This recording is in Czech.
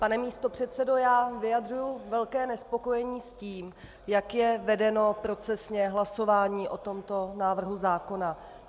Pane místopředsedo, já vyjadřuji velké nespokojení s tím, jak je vedeno procesně hlasování o tomto návrhu zákona.